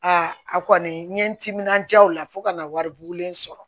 Aa a kɔni n ye n timinandiya o la fo ka na wari bugulen sɔrɔ